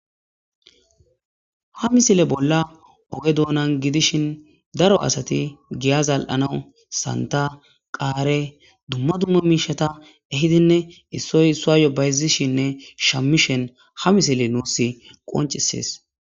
ha misile bolla oge doonan gidishin daro asati giya zal7anawu santa qaare dumma dumma miishata ehidinne issoy isso yobayzishinne shammishen ha misile nuus qoncisees